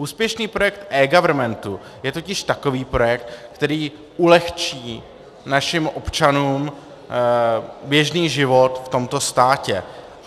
Úspěšný projekt eGovernmentu je totiž takový projekt, který ulehčí našim občanům běžný život v tomto státě.